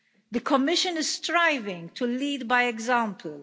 The Commission is striving to lead by example.